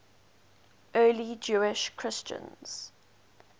early jewish christians